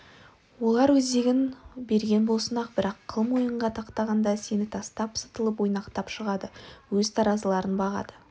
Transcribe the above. олар өзегін берген болсын-ақ бірақ қыл мойынға тақағанда сені тастап сытылып ойнақтап шығады өз таразыларын бағады